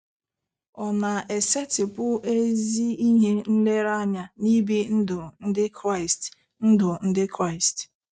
Ọ̀ na-esetịpụ ezi ihe nlereanya n'ibi ndụ Ndị Kraịst ndụ Ndị Kraịst?